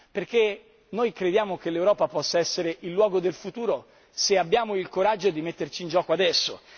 Perché noi crediamo che l'Europa possa essere il luogo del futuro se abbiamo il coraggio di metterci in gioco adesso.